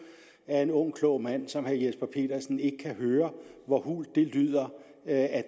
at en ung klog mand som herre jesper petersen ikke kan høre hvor hult det lyder at